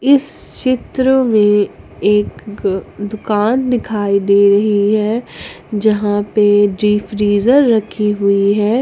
इस चित्र में एक दुकान दिखाई दे रही है जहां पर जी फ्रिजर रखी हुई है।